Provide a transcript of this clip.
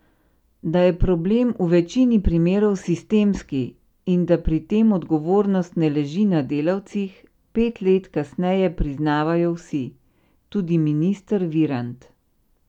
Da je problem v večini primerov sistemski in da pri tem odgovornost ne leži na delavcih, pet let kasneje priznavajo vsi, tudi minister Virant.